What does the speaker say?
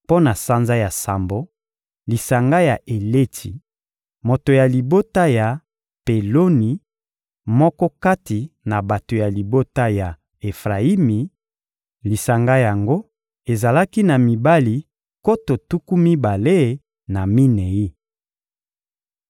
Mpo na sanza ya sambo: lisanga ya Eletsi, moto ya libota ya Peloni, moko kati na bato ya libota ya Efrayimi; lisanga yango ezalaki na mibali nkoto tuku mibale na minei.